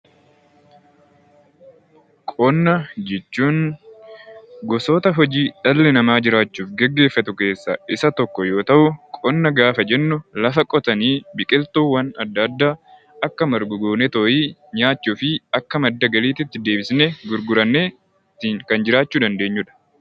Qonna jechuun gosoota hojii dhalli namaa jiraachuuf gaggeessu keessaa Isa tokko yoo ta'u, qonna gaafa jennu lafa qotanii biqiltuuwwan adda addaa nyaachuu fi Akka madda galiitti deebisnee gurgurannee ittiin jiraachuu kan dandeenyudha